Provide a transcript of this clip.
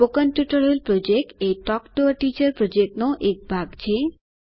spoken tutorial project એ talk to a teacher પ્રોજેક્ટનો એક ભાગ છે